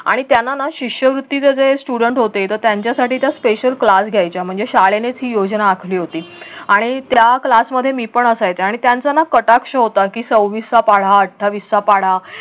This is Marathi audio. आणि त्यांना ना शिष्यवृत्तीचे जे student होते तर त्यांच्या साठी त्या special class घ्यायच्या म्हणजे शाळेनेच ही योजना आखली होती आणि त्या class मध्ये मी पण असायचे आणि त्यांचा ना कटाक्ष होता की सव्वीसचा पाढा अठ्ठावीसचा पाढा